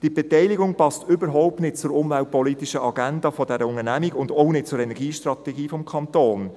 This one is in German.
Diese Beteiligung passt überhaupt nicht zur umweltpolitischen Agenda der Unternehmung und auch nicht zur Energiestrategie des Kantons.